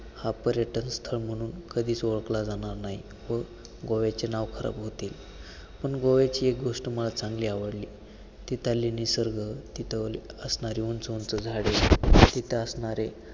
हा पर्यटन स्थळ म्हणून कधीच ओळखला जाणार नाही व गोव्याचे नाव खराब होतील, पण गोव्याची गोष्ट मला चांगली आवडली, तिथले निसर्ग, तिथं असणारी उंच उंच झाडे तिथं असणारे